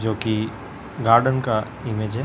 जो कि गार्डन का इमेज है।